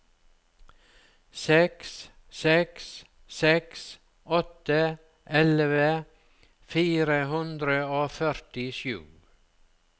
seks seks seks åtte elleve fire hundre og førtisju